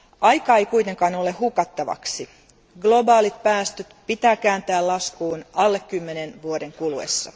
Aikaa ei ole kuitenkaan hukattavaksi, globaalit päästöt pitää kääntää laskuun alle kymmenen vuoden kuluessa.